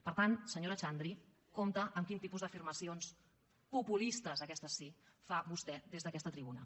per tant senyora xandri compte amb quin tipus d’afirmacions populistes aquestes sí fa vostè des d’aquesta tribuna